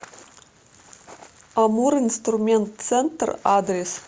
амуринструментцентр адрес